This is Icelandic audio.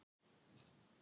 svo hægt sé að pína